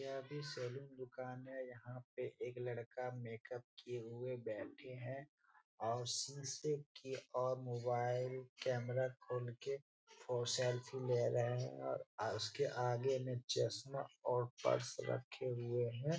यह भी सैलून दुकान है यहाँ पे एक लड़का मेक-अप किए हुए बैठे हैं और शीशे की ओर मोबाइल कैमरा खोल के और सेल्फी ले रहे है और उसके आगे में चश्मा और पर्स रखे हुए है।